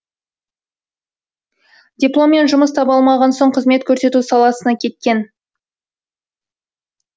дипломмен жұмыс таба алмаған соң қызмет көрсету саласына кеткен